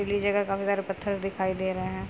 जगह काफी सारे पत्थर दिखाई दे रहे हैं।